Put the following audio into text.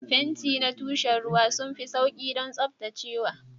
Fenti na tushen ruwa sun fi sauƙi don tsaftacewa.